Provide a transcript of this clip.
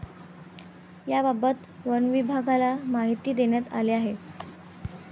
याबाबत वनविभागाला माहिती देण्यात आली आहे.